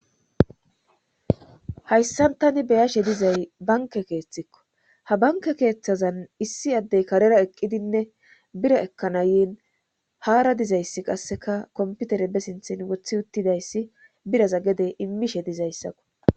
hayssantani beyashe dizay banke keeththikko ha banke keeththazan issi addey karera eqqidinne bira ekkanayin haara dizayssi qasseka komputere be sinthin wothi uttidayssi biraza gede immishe dizayssakko